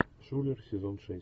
шулер сезон шесть